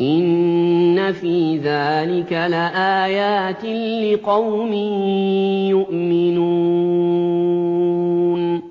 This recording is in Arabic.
إِنَّ فِي ذَٰلِكَ لَآيَاتٍ لِّقَوْمٍ يُؤْمِنُونَ